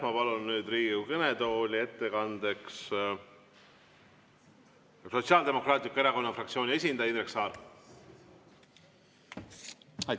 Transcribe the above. Ma palun nüüd Riigikogu kõnetooli ettekandeks Sotsiaaldemokraatliku Erakonna fraktsiooni esindaja Indrek Saare.